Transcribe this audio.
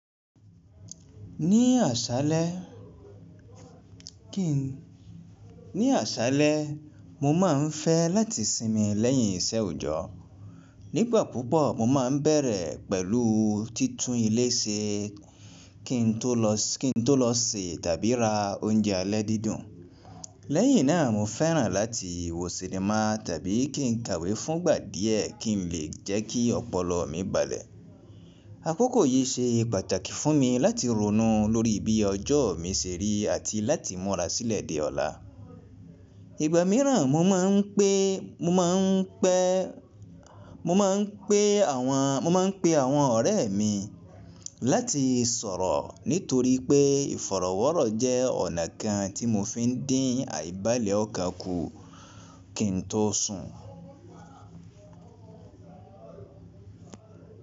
Ní àṣálẹ́, kí n, ní àṣálẹ́ mo máa ń fẹ́ láti sinmi lẹ́yìn iṣẹ́ òjọ́. Nígbà púpọ̀ mo máa ń bẹ̀rẹ̀ pẹ̀lú títún ilé ṣe kín tó lọ, kín tó lọ se tàbí ra oúnjẹ alẹ́ dídùn. Lẹ́yìn náà mo fẹ́ràn láti wo sinimá tàbí kí n kàwé fúngba díẹ̀ kí n lè jẹ́ kí ọpọlọ mi balẹ̀. Àkókò yìí ṣe pàtàkì fún mi láti ronú lórí bí ọjọ́ mi ṣe rí àti láti múra sílẹ̀ dé ọ̀la. Ìgbà míràn mo má ń pé, mo má ń pẹ́, mo má ń pe àwọn, mo má ń pe àwọn ọ̀rẹ́ mi láti sọ̀rọ̀ nítorí pé ìfọ̀rọ̀wọ́rọ̀ jẹ́ ọ̀nà kan tí mo fi ń dín àìbalẹ̀ ọ̀kakùn kín tó sùn.